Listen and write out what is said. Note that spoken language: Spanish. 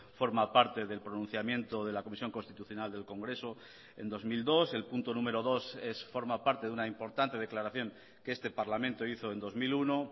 forma parte del pronunciamiento de la comisión constitucional del congreso en dos mil dos el punto número dos forma parte de una importante declaración que este parlamento hizo en dos mil uno